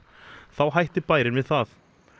þá hætti bærinn við það